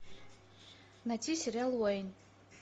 найти сериал уэйн